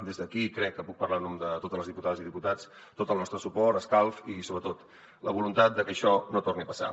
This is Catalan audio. des d’aquí crec que puc parlar en nom de totes les diputades i diputats tot el nostre suport escalf i sobretot la voluntat de que això no torni a passar